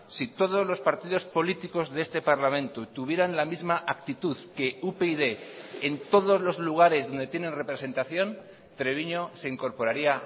si todos los partidos políticos de este parlamento tuvieran la misma actitud que upyd en todos los lugares donde tienen representación treviño se incorporaría